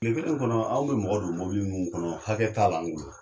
Kile kelen kɔnɔ aw be mɔgɔ don mɔbili munnu kɔnɔ hakɛ t'a la anw bolo.